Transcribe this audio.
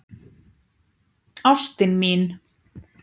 Ástin mín!